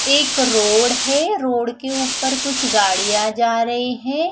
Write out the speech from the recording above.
एक रोड है रोड के ऊपर कुछ गाड़िया जा रही है।